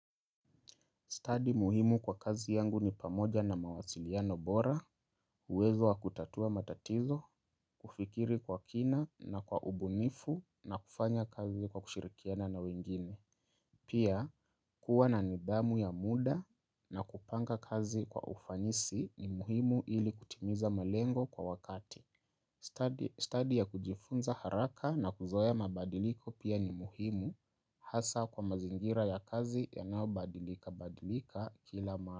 Study muhimu kwa kazi yangu ni pamoja na mawasiliano bora, uwezo wa kutatua matatizo, kufikiri kwa kina na kwa ubunifu na kufanya kazi kwa kushirikiana na wengine. Pia, kuwa na nidhamu ya muda na kupanga kazi kwa ufanisi ni muhimu ili kutimiza malengo kwa wakati. Study ya kujifunza haraka na kuzoea mabadiliko pia ni muhimu. Hasa kwa mazingira ya kazi yanayobadilika badilika kila mara.